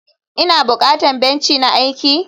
ina bukatan benci na aiki?